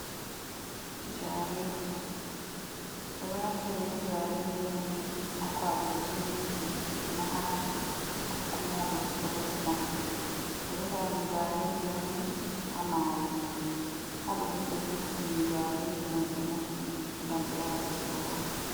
Jarindi, ɓeɗo naftira be jarendi on ni ha kwaɓugo seminti maha, ko kuma wada plesta ɓe ɗo heɓa jarendi on ni ha mayo, ha ɗo ni be vurtinin jarendi mai ɓe mofti ngam ɓe wara ɓe soda.